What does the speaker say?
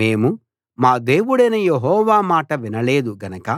మేము మా దేవుడైన యెహోవా మాట వినలేదు గనక